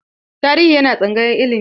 Tarihi yana tsangayar ilimi.